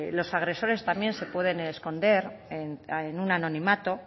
los agresores también se pueden esconder en un anonimato